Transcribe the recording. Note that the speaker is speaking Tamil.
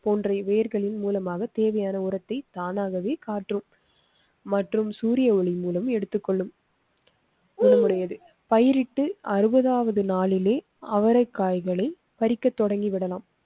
போன்ற வேர்களின் மூலமாக தேவையான உரத்தை தானாகவே காற்று மற்றும் சூரிய ஒளி மூலம் எடுத்துக் கொள்ளும் குணம் உடையது. பயிரிட்டு அறுபதாவது நாளிலேயே நாளில் அவரைக் காய்களை பறிக்க தொடங்கிவிடலாம்.